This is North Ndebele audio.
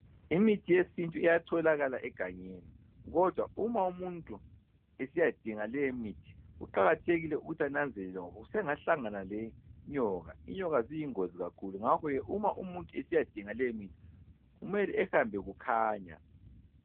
Imithi yesintu iyatholakala egangeni kodwa uma umuntu esiyadinga leyi imithi kuqakathekile ukuthi ananzelele ngoba usengahlangana lenyoka , inyoka ziyingozi kakhulu ngakho ke uma umuntu esiyadinga le mithi kumele ehambe kukhanya.